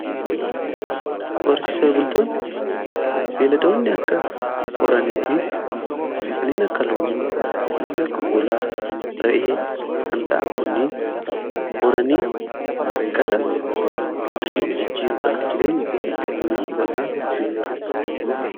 Horsiise bultoonni beeladoonni akka horanii fi kanneen akka loonii, kanneen akka hoolaa fi ra'ee kan ta'an kuni horanii gara qarshiitti jijjiiruudhaan jireenya ofii kan ittiin foyyessuu danda'an horsiisee bultoota jedhamu.